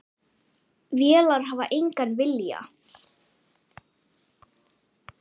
Vélar hafa engan vilja.